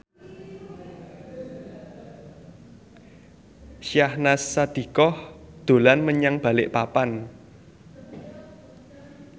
Syahnaz Sadiqah dolan menyang Balikpapan